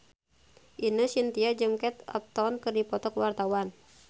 Ine Shintya jeung Kate Upton keur dipoto ku wartawan